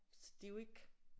Så det er jo ikke